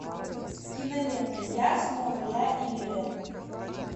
кинолента я снова я и ирэн